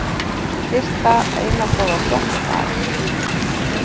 Birta eina góða frétt á dag